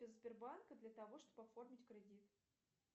сбербанка для того чтобы оформить кредит